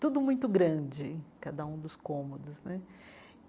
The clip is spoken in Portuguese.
Tudo muito grande, cada um dos cômodos né.